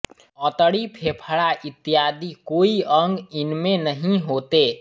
अंतड़ी फेफड़ा इत्यादि कोई अंग इनमें नहीं होते